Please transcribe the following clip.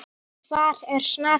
Hvar er Snati?